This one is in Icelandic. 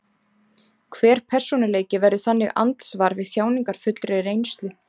Hver persónuleiki verður þannig andsvar við þjáningarfullri reynslu.